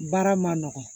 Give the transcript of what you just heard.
Baara ma nɔgɔn